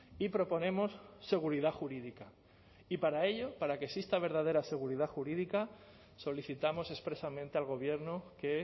y proponemos seguridad jurídica y para ello para que exista verdadera seguridad jurídica solicitamos expresamente al gobierno que